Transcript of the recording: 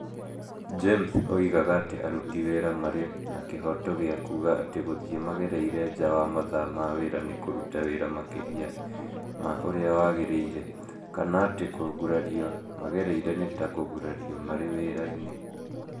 James oigaga atĩ aruti wĩra marĩ na kĩhooto gĩa kuuga atĩ gũthiĩ magereire nja wa mathaa ma wĩra nĩ kũruta wĩra makĩria ma ũrĩa wagĩrĩire, kana atĩ kũgurario magereire nĩ ta kũgurario marĩ wĩra-inĩ